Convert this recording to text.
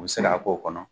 U bɛ se k'a k'o kɔnɔ